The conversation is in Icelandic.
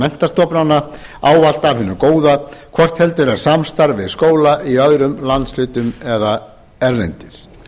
menntastofnana ávallt af hinu góða hvort heldur er samstarf við skóla í öðrum landshlutum eða erlendis